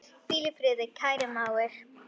Hvíl í friði, kæri mágur.